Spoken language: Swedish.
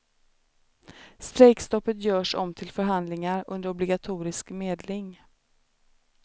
Strejkstoppet görs om till förhandlingar under obligatorisk medling.